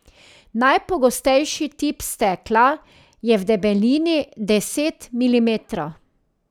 Najpogostejši tip stekla je v debelini deset milimetrov.